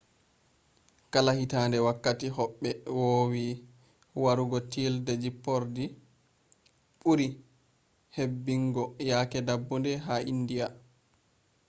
kala hitaande wakkati hobbe vowi warugo tiilde jippordi buri hebbungo yake dabbunde ha india